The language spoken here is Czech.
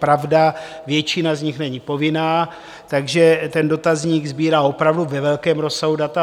Pravda, většina z nich není povinná, takže ten dotazník sbírá opravdu ve velkém rozsahu data.